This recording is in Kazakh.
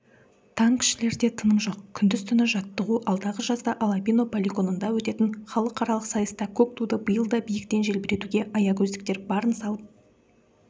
танкішілерде тыным жоқ күндіз-түні жаттығу алдағы жазда алабино полигонында өтетін халықаралық сайыста көк туды биыл да биіктен желбіретуге аягөздіктер барын салып